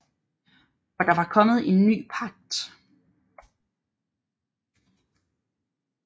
For der var kommet en ny pagt